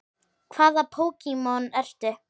Hvaða Pokémon ertu?